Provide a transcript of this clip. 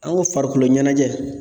An ko farikoloɲɛnajɛ